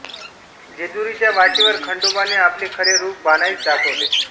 जेजुरीच्या वाटेवर खंडोबाने आपले खरे रूप बाणाईस दाखविले